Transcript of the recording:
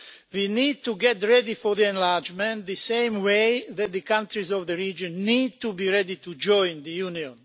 We need to get ready for the enlargement in the same way that the countries of the region need to be ready to join the Union.